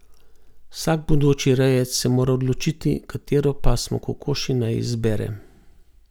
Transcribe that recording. Vsak bodoči rejec se mora odločiti, katero pasmo kokoši naj izbere.